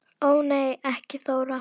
Ó nei ekki Þóra